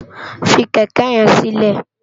Fi kèkè yèn silè